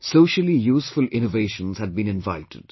Socially useful innovations had been invited